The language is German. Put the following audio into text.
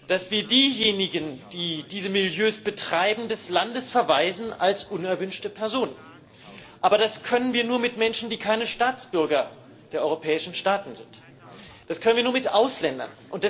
dass wir diejenigen, die diese Milieus betreiben, als unerwünschte Personen des Landes verweisen. Aber das können wir nur mit Menschen, die keine Staatsbürger der europäischen Staaten sind. Das können wir nur mit Ausländern.